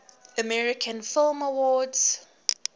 american film awards